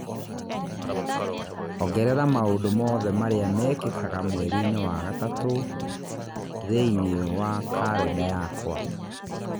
ongerera maũndũ mothe marĩa mekĩkaga mweriinĩ wa gatatũ rccg thĩinĩ wa kalenda yakwa